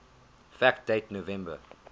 fact date november